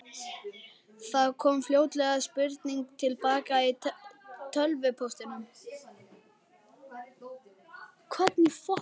Það kom fljótlega spurning til baka í tölvupóstinum.